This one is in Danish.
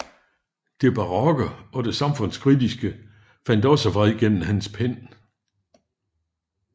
Det barokke og det samfundskritiske fandt også vej gennem hans pen